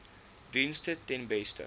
dienste ten beste